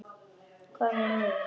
Hvað með mig?